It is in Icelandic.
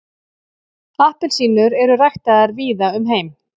Appelsínur eru ræktaðar víða um heim.